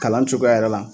Kalan cogoya yɛrɛ la